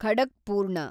ಖಡಕ್ಪೂರ್ಣ